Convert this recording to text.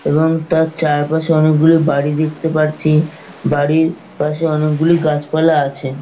এবং তার চারপাশে অনেকগুলো বাড়ি দেখতে পারছি বাড়ির পাশে অনেকগুলি গাছপালা আছে।